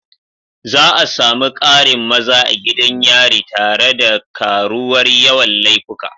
Za a sami ƙarin maza a gidan yari tare da karuwar yawan laifuka.